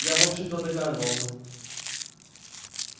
я в общем-то догадывался